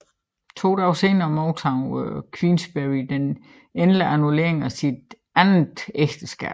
To dage senere modtog Queensberry den endelige annullering af sit andet ægteskab